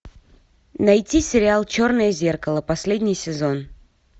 найти сериал черное зеркало последний сезон